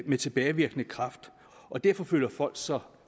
med tilbagevirkende kraft og derfor føler folk sig